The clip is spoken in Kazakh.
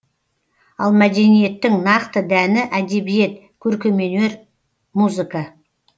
ал мәдениеттің нақты дәні әдебиет көркемөнер музыка